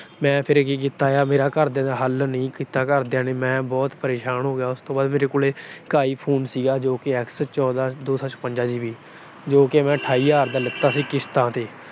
ਮੈਂ ਫਿਰ ਕੀ ਕੀਤਾ, ਘਰਦਿਆਂ ਨੇ ਹੱਲ ਨਹੀਂ ਕੀਤਾ ਘਰਦਿਆਂ ਨੇ, ਮੈਂ ਫਿਰ ਬਹੁਤ ਪਰੇਸ਼ਾਨ ਹੋ ਗਿਆ। ਉਸ ਤੋਂ ਬਾਅਦ ਮੇਰੇ ਕੋਲੇ I Phone ਸੀਗਾ ਐਕਸ ਚੌਦਾਂ ਤਿੰਨ ਸੌ ਛਪੰਜਾ GB ਜੋ ਕਿ ਮੈਂ ਅਠਾਈ ਹਜਾਰ ਦਾ ਲਿਤਾ ਸੀ ਕਿਸ਼ਤਾਂ ਤੇ।